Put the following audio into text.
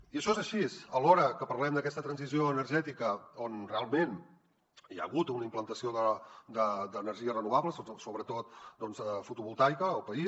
i això és així alhora que parlem d’aquesta transició energètica on realment hi ha hagut una implantació d’energies renovables sobretot fotovoltaica al país